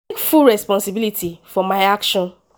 i take full responsibility for my action.”